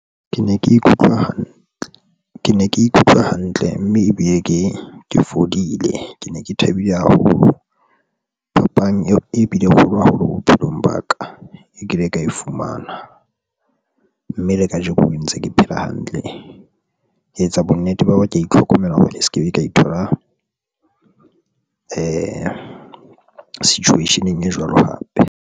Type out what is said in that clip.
Ke ne ke ikutlwa hantle, ke ne ke ikutlwa hantle mme e be ke ke fodile, ke ne ke thabile haholo. Phapang eo e bile e kgolo haholo bophelong ba ka. E kile ka e fumana mme le kajeko ho ntse ke phela hantle. Ke etsa bonnete ba hore ke itlhokomela hobane e se ke be ka ithola situation e jwalo hape.